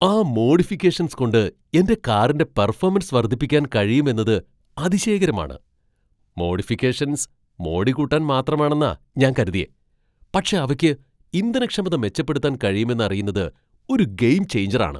ആ മോഡിഫിക്കേഷൻസ് കൊണ്ട് എന്റെ കാറിന്റെ പെർഫോമൻസ് വർധിപ്പിക്കാൻ കഴിയും എന്നത് അതിശയകരമാണ്. മോഡിഫിക്കേഷൻസ് മോടി കൂട്ടാൻ മാത്രമാണെന്നാ ഞാൻ കരുതിയെ , പക്ഷേ അവയ്ക്ക് ഇന്ധനക്ഷമത മെച്ചപ്പെടുത്താൻ കഴിയുമെന്ന് അറിയുന്നത് ഒരു ഗെയിം ചേഞ്ചറാണ്.